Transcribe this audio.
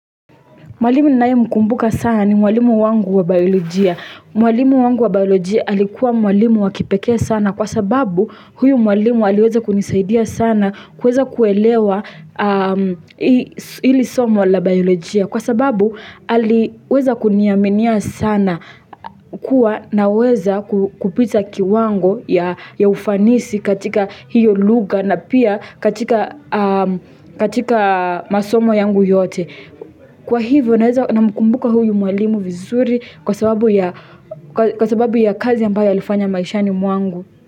Mwalimu ninaye mkumbuka sana ni mwalimu wangu wa biolojia. Mwalimu wangu wa biolojia alikuwa mwalimu wakipekee sana kwa sababu huyu mwalimu aliweza kunisaidia sana kweza kuelewa ili somo la biolojia. Kwa sababu aliweza kuniaminia sana kuwa naweza kupita kiwango ya ya ufanisi katika hiyo lugha na pia katika masomo yangu yote. Kwa hivyo naweza na mkumbuka huyu mwalimu vizuri kwa sababu ya kwa sababu ya kazi ambayo alifanya maishani mwangu.